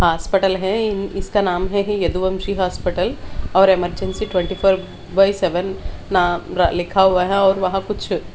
hospital है इसका नाम है यदुवंशी हॉस्पिटल और emergency twenty four by seven नाम लिखा हुआ है और वहाँ कुछ --